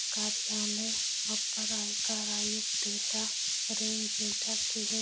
कार्यालय अपर आयकर आयुक्त डेटा रेंज डेटा के हैं।